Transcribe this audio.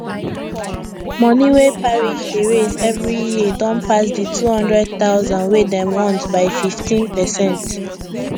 money wey parish dey raise every year don pass the 200000 wey dem want by 15 percent